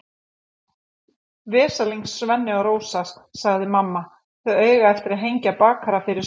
Veslings Svenni og Rósa, sagði mamma, þau eiga eftir að hengja bakara fyrir smið.